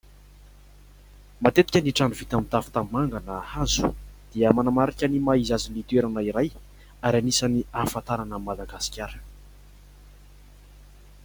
Matetika ny trano vita amin'ny tafo tanimanga na hazo, dia manamarika ny maha izy azy ny toerana iray ary anisan'ny ahafantarana an'i Madagasikara.